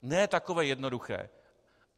Ne takové jednoduché.